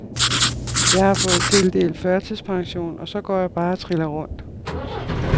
Jeg har fået tildelt førtidspension, og så går jeg bare og triller rundt.